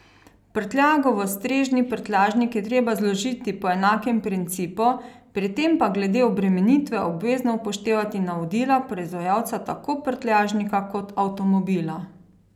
Prtljago v strežni prtljažnik je treba zložiti po enakem principu, pri tem pa glede obremenitve obvezno upoštevati navodila proizvajalca tako prtljažnika kot avtomobila.